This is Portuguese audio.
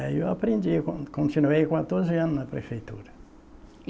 E aí eu aprendi, continuei quatorze anos na prefeitura.